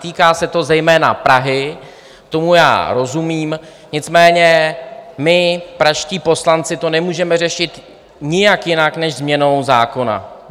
Týká se to zejména Prahy, tomu já rozumím, nicméně my, pražští poslanci, to nemůžeme řešit nijak jinak než změnou zákona.